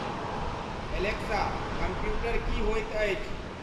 Alexa computer की होयत अछि